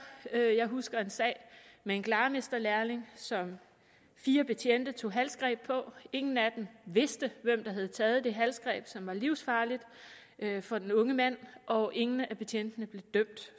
jeg jeg husker en sag med en glarmesterlærling som fire betjente tog halsgreb på ingen af dem vidste hvem der havde taget det halsgreb som var livsfarligt for den unge mand og ingen af betjentene blev dømt